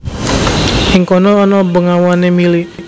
Ing kono ana bengawané mili